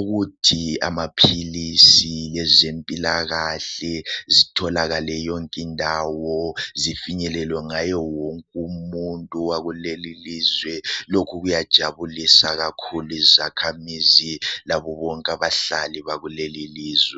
ukuthi amaphilisi lezempilakahle zitholakale yonke indawo zifinyelwe ngaye wonke umuntu wakuleli ilizwe. Lokhu kuyajabulisa kakhulu izakhamizi labo bonke abahlali bakuleli ilizwe.